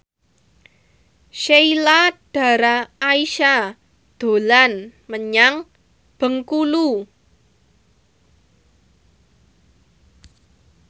Sheila Dara Aisha dolan menyang Bengkulu